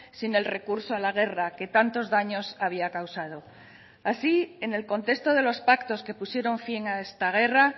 sin el recurso a la guerra que tantos daños había causado así en el contexto de los pactos que pusieron fin a esta guerra